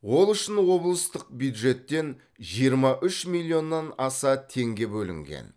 ол үшін облыстық бюджеттен жиырма үш миллионнан аса теңге бөлінген